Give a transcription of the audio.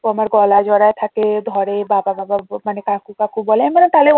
ও আমার গলা জড়ায়ে থাকে ধরে বাবা বাবা মানে কাকু কাকু বলে আমি বললাম তাহলে